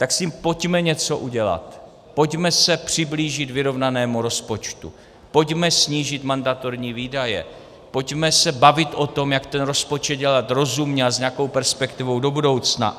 Tak s tím pojďme něco udělat, pojďme se přiblížit vyrovnanému rozpočtu, pojďme snížit mandatorní výdaje, pojďme se bavit o tom, jak ten rozpočet dělat rozumně a s nějakou perspektivou do budoucna.